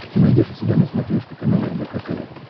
ты найдешь у себя на смотрешке канал рбк тв